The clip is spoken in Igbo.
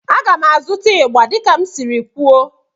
A ga m azụta igba dika m siri kwuo